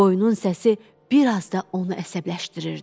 Qoyunun səsi bir az da onu əsəbləşdirirdi.